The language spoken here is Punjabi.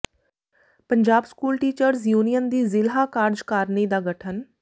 ਪੰਜਾਬ ਸਕੂਲ ਟੀਚਰਜ਼ ਯੂਨੀਅਨ ਦੀ ਜ਼ਿਲ੍ਹਾ ਕਾਰਜਕਾਰਨੀ ਦਾ ਗਠਨ